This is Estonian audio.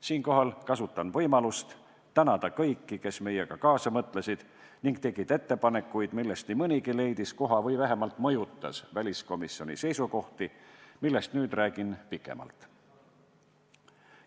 Siinkohal kasutan võimalust tänada kõiki, kes meiega kaasa mõtlesid ning tegid ettepanekuid, millest nii mõnigi leidis koha või vähemalt mõjutas väliskomisjoni seisukohti, millest nüüd räägin pikemalt.